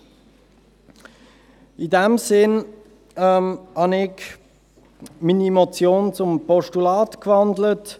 In dem Sinn habe ich meine Motion zum Postulat gewandelt.